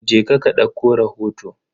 Je ka ka dauko rahoto.